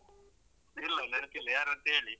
ಇಲ್ಲ ನೆನಪಿಲ್ಲ ಯಾರಂತ ಹೇಳೀ.